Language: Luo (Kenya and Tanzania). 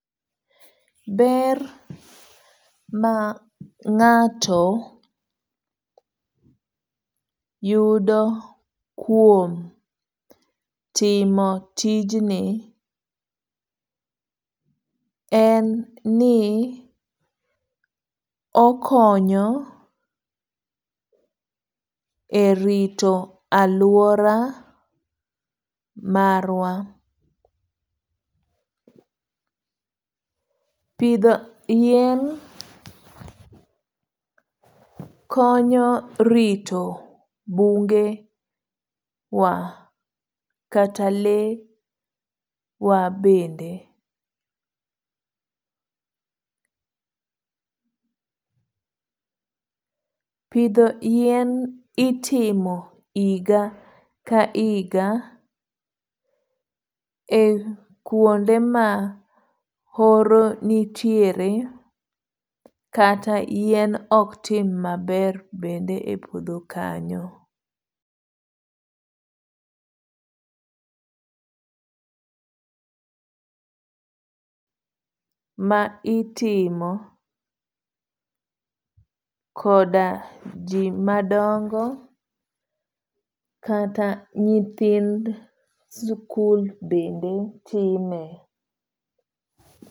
Ber ma ng'ato yudo kuom timo tijni en ni okonyo e rito alwora marwa. Pidho yien konyo rito bunge wa, kata le wa bende. Pidho yien itimo higa ka higa e kuonde ma horo nitiere kata yien ok tim maber bende e puodho kanyo.